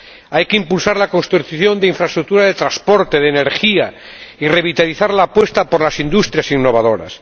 Hay que impulsar la construcción de infraestructuras de transporte y de energía, y revitalizar la apuesta por las industrias innovadoras